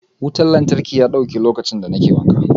Wutan lantarki ya dauke lokaci da ne ke wanka.